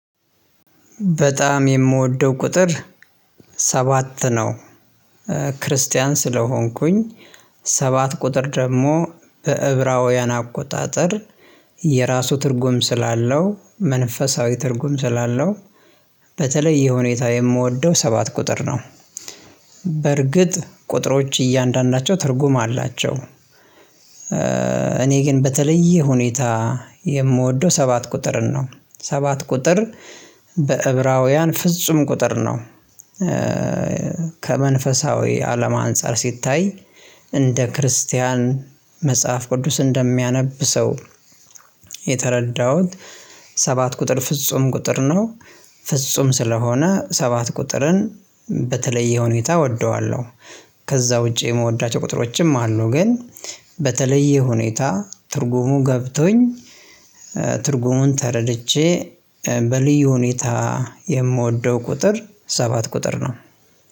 በጣም የምወደው ቁጥር ሰባት ነው። ክርስቲያን ስለሆንኩኝ፣ ሰባት ቁጥር ደግሞ በዕብራውያን አቆጣጠር የራሱ ትርጉም ስላለው፣ መንፈሳዊ ትርጉም ስላለው፣ በተለየ ሁኔታ የምወደው ሰባት ቁጥር ነው። በርግጥ ቁጥሮች እያንዳንዳቸው ትርጉም አላቸው። እኔ ግን በተለየ ሁኔታ የምወደው ሰባት ቁጥርን ነው። ሰባት ቁጥር በዕብራውያን ፍጹም ቁጥር ነው። ከመንፈሳዊ አለም አንፃር ሲታይ እንደ ክርስቲያን፣ መጽሐፍ ቅዱስ እንደሚያነብ ሰው፣ የተረዳሁት ሰባት ቁጥር ፍጹም ቁጥር ነው። ፍጹም ስለሆነ ሰባት ቁጥርን በተለየ ሁኔታ እወደዋለሁ። ከዛ ውጪ የምወዳቸው ቁጥሮችም አሉ። ግን በተለየ ሁኔታ፣ ትርጉሙ ገብቶኝ፣ ትርጉሙን ተረድቼ፣ በልዩ ሁኔታ የምወደው ቁጥር ሰባት ቁጥር ነው።